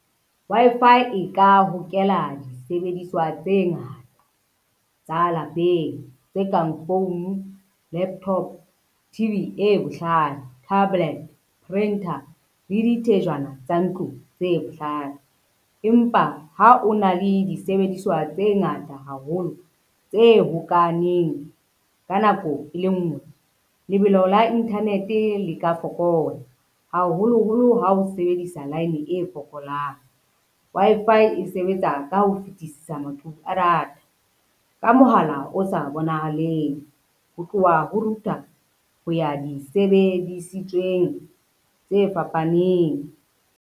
Wi-Fi e ka hokela disebediswa tse ngata tsa lapeng, tse kang founu, laptop, T_V e bohlale, tablet, printer le di thejana tsa ntlong tse bohlale. Empa ha o na le disebediswa tse ngata haholo, tse hokahaneng ka nako e le nngwe, lebelo la internet le ka fokola haholoholo ha o sebedisa line e fokolang. Wi-Fi e sebetsa ka ho fetisisa maqhubu a data ka mohala o sa bonahaleng, ho tloha ho router ho ya di sebedisitsweng tse fapaneng.